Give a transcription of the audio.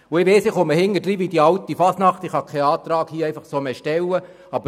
Ich weiss, dass ich wie die alte Fasnacht hinterherkomme und deshalb hier keinen Antrag mehr stellen kann.